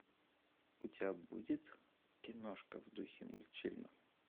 у тебя будет киношка в духе мультфильма